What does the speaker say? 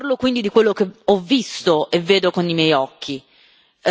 preceduto. Parlo quindi di quello che ho visto e vedo con i miei occhi.